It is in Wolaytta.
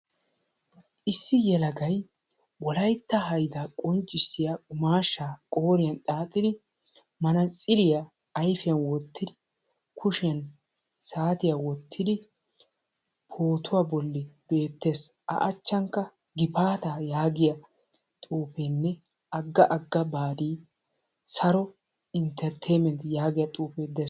Issi yelagay Wolaytta hayda qonccissiya qummaashsha qooriyan xaaxidi manatsiriyaan ayfiyaan wottidi kushiyaan saatiya wottidi pootuwa bolli beettees. A achchankka gifaata yaagiya xuufeenne agga agga baadi, sari inttertaymentti yaagiyaa xuufe dees.